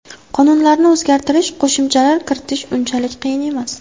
Qonunlarni o‘zgartirish, qo‘shimchalar kiritish unchalik qiyin emas.